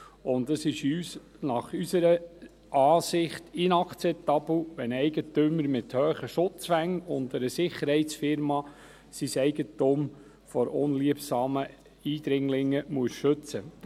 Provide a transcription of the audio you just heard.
Für uns ist es unserer Ansicht nach ist es nicht inakzeptabel, wenn ein Eigentümer mit hohen Schutzwänden und einer Sicherheitsfirma sein Eigentum vor unliebsamen Eindringlingen schützen muss.